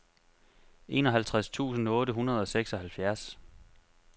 enoghalvtreds tusind otte hundrede og seksoghalvfjerds